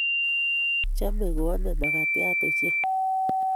Chome koame makatiat ochei